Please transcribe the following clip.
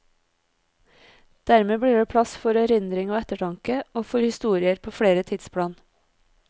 Dermed blir det plass for erindring og ettertanke, og for historier på flere tidsplan.